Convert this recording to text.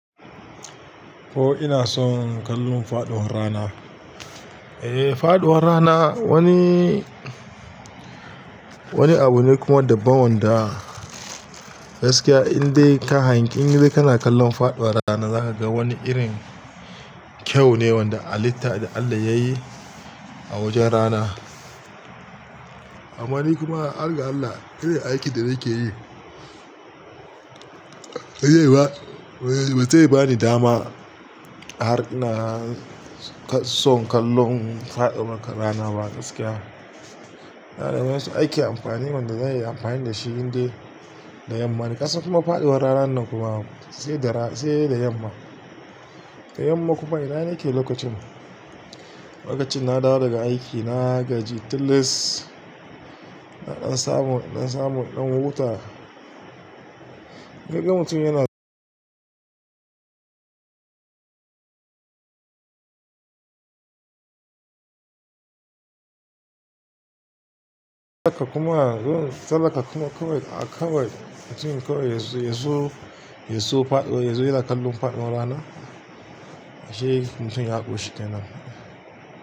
Oh, ina son kallon faɗuwar rana. Eh, faɗuwar rana wani, wani abu ne kuma daban wanda gaskiya indai ka hangi in dai kana kallon faɗuwar rana za ka ga wani irin kyau ne wani halitta da Allah ya yi a wajen rana. Amma ni kuma, har ga Allah irin aikin da nake yi ba zai bani dama har ina son kallon faɗuwar rana ba gaskiya. Da wasu ake anfani, wanda zanyi anfani dashi indai da yamma ne, kasan kuma faɗuwar ranan nan sai da yamma da yamma kuma ina nake lokacin? Lokacin na dawo daga aiki, na gaji, tilis, na ɗan samu, ɗan samu, ɗan huta. Idan mutum yana kuma sallah ka kuma kawai a kawai mutum kawai ya zo, ya zo faɗuwar, ya zo yana kallon faɗuwar rana, ashe mutum ya ƙoshi kenan.